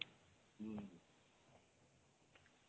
ହୁଁ